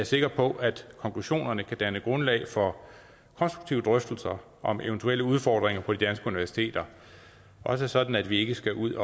sikker på at konklusionerne kan danne grundlag for konstruktive drøftelser om eventuelle udfordringer på de danske universiteter også sådan at vi ikke skal ud